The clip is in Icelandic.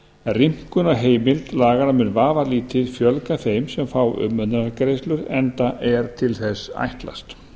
rýmkun á heimild laganna mun vafalítið fjölga þeim sem fá umönnunargreiðslur enda til þess ætlast